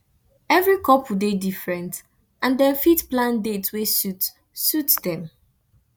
every couple dey different and dem fit plan dates wey suit suit dem